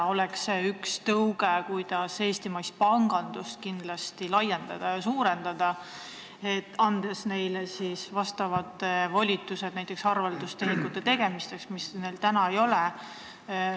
Üks tõuge, kuidas eestimaist pangandust laiendada, oleks see, kui anda ühistutele volitused näiteks arveldustehingute tegemiseks, mida neil täna ei ole.